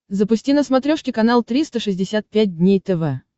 запусти на смотрешке канал триста шестьдесят пять дней тв